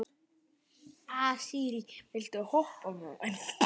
Asírí, viltu hoppa með mér?